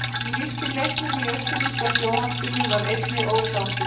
Sá sem lýsti leiknum í austurríska sjónvarpinu var einnig ósáttur.